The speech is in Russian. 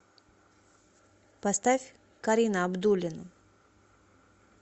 поставь карина абдуллина